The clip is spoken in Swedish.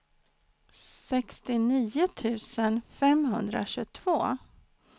sextionio tusen femhundratjugotvå